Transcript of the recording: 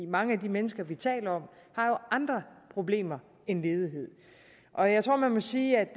mange af de mennesker vi taler om har jo andre problemer end ledighed og jeg tror at man må sige at